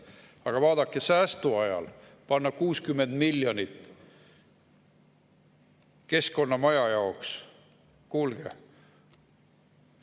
Aga vaadake, säästuajal panna 60 miljonit keskkonnamajja – kuulge!